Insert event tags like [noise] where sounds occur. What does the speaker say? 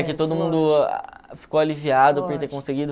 [unintelligible] todo mundo ficou aliviado por ter conseguido.